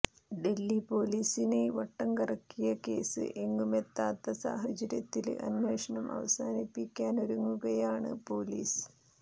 ഡല്ഹി പോലീസിനെ വട്ടം കറക്കിയ കേസ് എങ്ങുമെത്താത്ത സാഹചര്യത്തില് അന്വേഷണം അവസാനിപ്പിക്കാനൊരുങ്ങുകയാണ് പോലീസ്